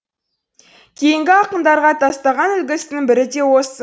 кейінгі ақындарға тастаған үлгісінің бірі де осы